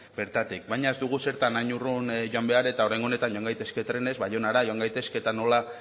bertatik baina ez dugu zertan hain urrun joan behar eta oraingo honetan joan gaitezke trenez baionara joan gaitezke eta nola